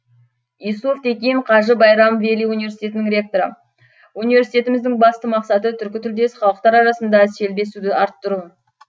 юсуф текин қажы байрам вели университетінің ректоры университетіміздің басты мақсаты түркітілдес халықтар арасында селбесуді арттыру